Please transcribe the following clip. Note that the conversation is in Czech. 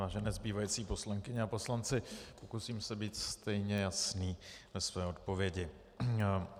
Vážené zbývající poslankyně a poslanci, pokusím se být stejně jasný ve své odpovědi.